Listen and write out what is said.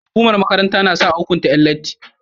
Hukumar makaranta nasa a hukunta Yan latti